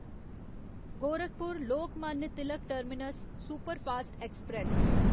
Gorakhpur Lokmanya Tilak terminus superfast express